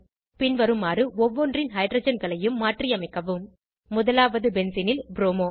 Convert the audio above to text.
பின்வருமாறு ஒவ்வொன்றின் ஹைட்ரஜன்களையும் மாற்றியமைக்கவும் முதலாவது பென்சீனில் ப்ரோமோ